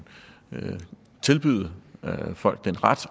tilbyde og give folk den ret